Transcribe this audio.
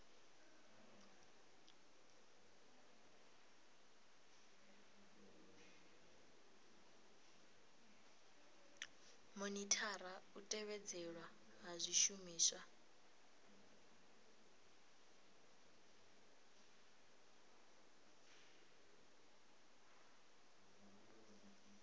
monithara u tevhedzelwa ha zwishumiswa